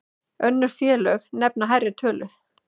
Önnur félög nefna hærri tölu.